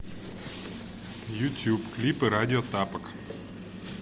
ютуб клипы радио тапок